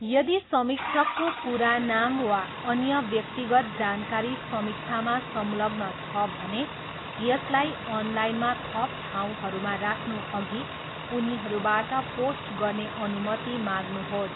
यदि समीक्षकको पुरा नाम वा अन्य व्यक्तिगत जानकारी समीक्षामा संलग्न छ भने, यसलाई अनलाइनमा थप ठाउँहरूमा राख्नुअघि उनीहरूबाट पोस्ट गर्ने अनुमति माग्नुहोस्।